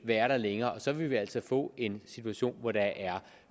være der længere og så vil vi altså få en situation hvor der er